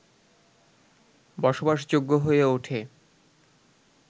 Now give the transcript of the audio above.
বসবাসযোগ্য হয়ে ওঠে